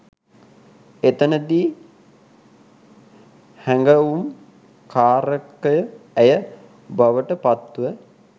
එතැනදී හැඟවුම් කාරකය ඇය බවට පත්ව